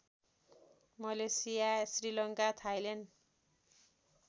Malaysia Sri Lanka Thailand